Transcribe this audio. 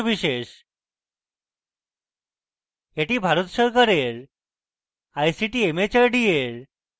এটি ভারত সরকারের ict mhrd এর জাতীয় শিক্ষা mission দ্বারা সমর্থিত